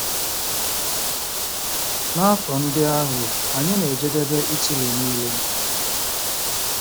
N'afọ ndị ahụ, anyị na-ejedebe Italy nile.